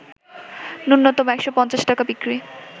ন্যূনতম ১৫০ টাকা বিক্রি